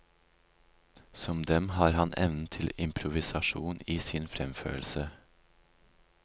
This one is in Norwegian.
Som dem har han evnen til improvisasjon i sin fremførelse.